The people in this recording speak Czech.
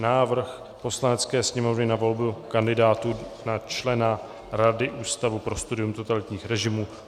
Návrh Poslanecké sněmovny na volbu kandidátů na členy Rady Ústavu pro studium totalitních režimů